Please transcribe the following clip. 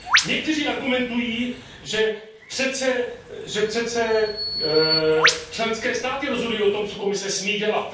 Někteří argumentují, že přece členské státy rozhodují o tom, co Komise smí dělat.